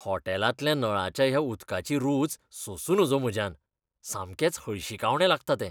होटॅलांतल्या नळाच्या ह्या उदकाची रूच सोंसूं नजो म्हज्यान, सामकेंच हळशिकावणें लागता तें.